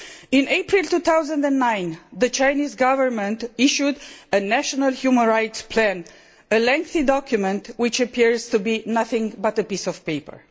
In April 2009, the Chinese Government issued a national human rights plan, a lengthy document which appears to be nothing but a piece of paper.